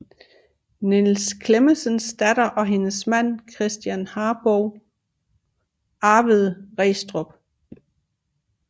Niels Clementsens datter og hendes mand Christen Harbou arvede Restrup